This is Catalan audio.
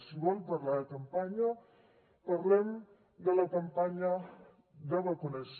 si vol parlar de campanya parlem de la campanya de vacunació